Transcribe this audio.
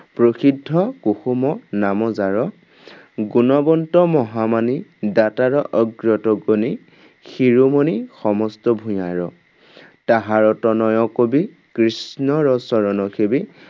প্ৰসিদ্ধ কুসুম নাম যাৰ। গুণৱন্ত মহামানী দাতাৰ অগ্ৰতগণি, শিৰোমণি সমস্ত ভূঞাৰ, তাহাৰ তনয় কবি কৃষ্ণৰ চৰণ সেবি